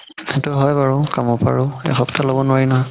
সেইটো হয় বাৰু কামত আৰু এসপ্তাহ ল'ব নোৱাৰি নহয়